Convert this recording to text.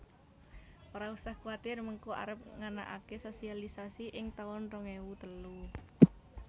Ora usah kuatir mengko arep nganakake sosialisasi ing taun rong ewu telu